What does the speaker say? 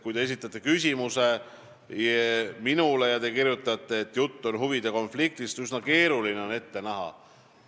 Kui te saadate mulle küsimuse teema ja kirjutate, et jutt tuleb huvide konfliktist, siis on üsna keeruline küsimust ette näha.